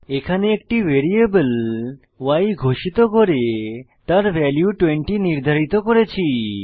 এখানে একটি variable y ঘোষিত করে তার ভ্যালু 20 নির্ধারিত করেছি